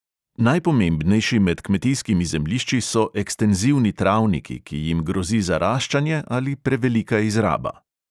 Najpomembnejši med kmetijskimi zemljišči so ekstenzivni travniki, ki jim grozi zaraščanje ali prevelika izraba.